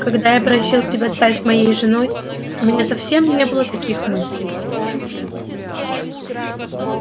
когда я просил тебя стать моей женой у меня совсем не было таких мыслей